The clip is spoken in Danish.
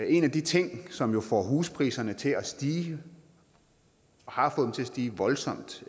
en af de ting som jo får huspriserne til at stige og har fået dem til at stige voldsomt